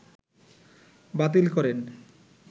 বাতিল করেন